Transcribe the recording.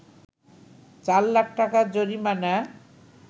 ৪ লাখ টাকা জরিমানা